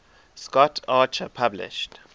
scott archer published